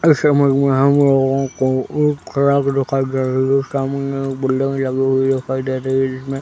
इस इमेज में हम लोगों को एक ट्रक दिखाई दे रही है सामने बिल्डिंग लगी हुई दिखाई दे रही है जिसमें --